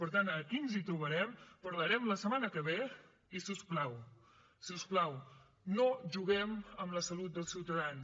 per tant aquí ens hi trobarem parlarem la setmana que ve i si us plau si us plau no juguem amb la salut dels ciutadans